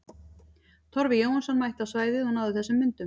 Torfi Jóhannsson mætti á svæðið og náði þessum myndum.